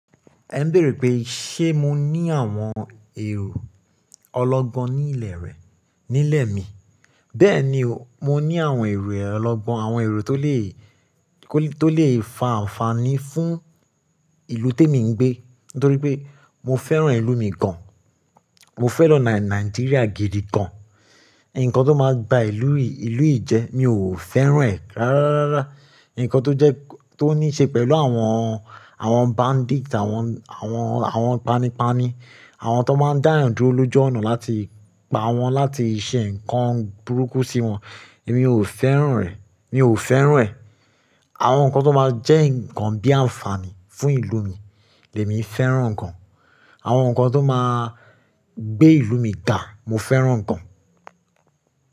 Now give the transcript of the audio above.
Ẹ ń béèrè pé ṣé mo ní àwọn èrò ọlọ́gbọ́n ní ilẹ̀ rẹ̀, nílẹ̀ mi. Bẹ́ẹ̀ni o, mo ní àwọn èrò ọlọ́gbọ́n, àwọn èrò tó lè, tó lè fa àǹfààní fún ìlú témi ń gbé. Nítorí pé mo fẹ́ràn ìlú mi gan. Mo fẹ́ràn Nàì, Nàìjíríà gidi gan. Ǹkan tó máa gba ìlú yìí, ìlú yìí jẹ, mi ò fẹ́ràn rẹ̀ rárá. Ǹkan tó jẹ́, tó níí ṣe pẹ̀lú àwọn, àwọn bandits, àwọn, àwọn, àwọn panipani, àwọn tó máa ń dá yan dúró lójú ọ̀nà láti pa wọ́n, láti ṣe ǹkan burúkú sí wọn, èmi ò fẹ́ràn rẹ̀, mi ò fẹ́ràn rẹ̀. Àwọn ǹkan tó máa jẹ́ ǹkan bí àǹfààní fún ìlú mi, èmi fẹ́ràn ǹkan. Àwọn ǹkan tó máa gbé ìlú mi ga, mo fẹ́ràn ǹkan.